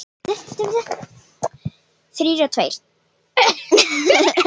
Ónefndur: Þrír og tveir?